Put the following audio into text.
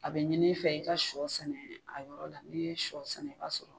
A bɛ ɲin i fɛ i ka sɔ sɛnɛ a yɔrɔ la n'i ye sɔ sɛnɛ ka sɔrɔ